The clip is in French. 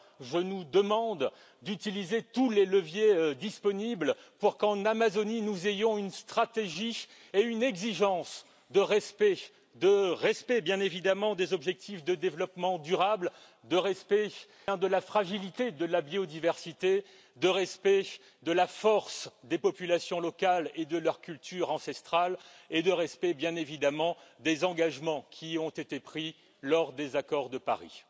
Je nous demande d'utiliser tous les leviers disponibles pour qu'en Amazonie, nous ayons une stratégie et une exigence de respect, de respect, bien évidemment, des objectifs de développement durable, de respect de la fragilité de la biodiversité, de respect de la force des populations locales et de leurs cultures ancestrales et de respect, bien évidemment, des engagements qui ont été pris lors des accords de Paris.